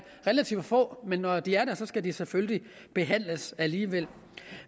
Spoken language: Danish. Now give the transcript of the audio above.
relativt få men når de er der skal de selvfølgelig behandles alligevel